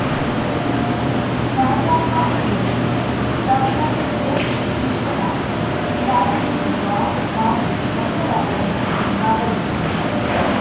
ಉಂ ಕಜಾಪ ಅಧ್ಯಕ್ಷ ಡಾಕ್ಟರ್ ಎಚ್‌ ವಿಶ್ವನಾಥ ಸಾಹಿತಿ ಬಾಮ ಬಸವರಾಜಯ್ಯ ಭಾಗವಹಿಸುವರು